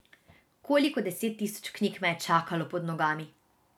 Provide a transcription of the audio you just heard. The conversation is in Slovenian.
Koliko deset tisoč knjig me je čakalo pod nogami?